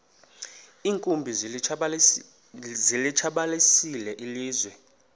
iinkumbi zilitshabalalisile ilizwe